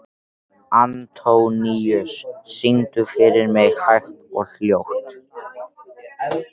Antóníus, syngdu fyrir mig „Hægt og hljótt“.